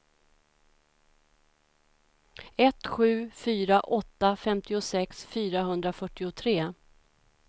ett sju fyra åtta femtiosex fyrahundrafyrtiotre